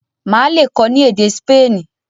Má lè kọ ni èdè Spani.